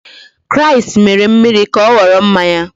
Kraịst mere mmiri ka ọ ghọrọ mmanya.